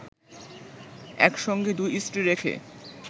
একসঙ্গে দুই স্ত্রী রেখে